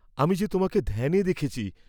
আমি যে তোমাকে ধ্যানে দেখেছি।